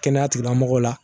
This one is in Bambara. Kɛnɛyatigilamɔgɔw la